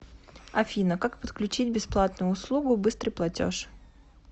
афина как подключить бесплатную услугу быстрый платеж